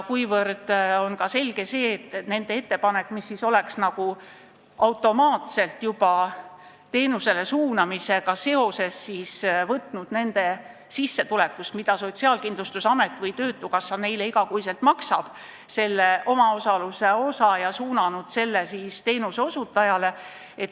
On selge, et nende ettepanek oleks nagu automaatselt, juba teenuse määramisega seoses võtnud nende inimeste sissetulekust, mida Sotsiaalkindlustusamet või töötukassa neile iga kuu maksab, maha selle omaosaluse osa ja suunanud selle teenuseosutajale.